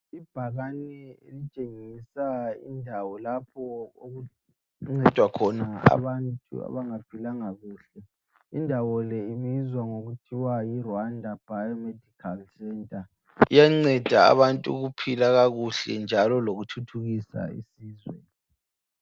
Ibhakane elitshengisa indawo lapho okuncedwa khona abantu abangaphilanga kuhle indawo le ibizwa ngokuthiwa yiRwanda Biomedical Centre iyanceda abantu ukuphila kakuhle njalo lokuthuthukisa isizwe.